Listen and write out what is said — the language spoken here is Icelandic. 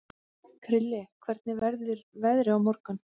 Krilli, hvernig verður veðrið á morgun?